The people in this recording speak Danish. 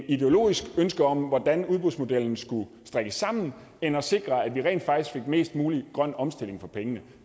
ideologisk ønske om hvordan udbudsmodellen skulle strikkes sammen end at sikre at vi rent faktisk fik mest mulig grøn omstilling for pengene